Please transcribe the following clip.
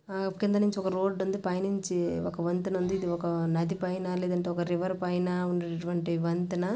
కింద నుంచి ఒక రోడ్ ఉంది. పైనుంచి ఒక వంతెన ఉంది. ఇది ఒక నది పైన లేదంటే ఒక రివర్ పైన ఉన్నటువంటి వంతెన.